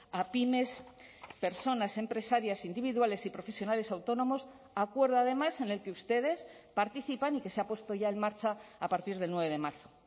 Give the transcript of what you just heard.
a pymes personas empresarias individuales y profesionales autónomos acuerdo además en el que ustedes participan y que se ha puesto ya en marcha a partir del nueve de marzo